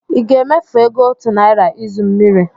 Ị ga-emefu ego otu naira izu mmiri?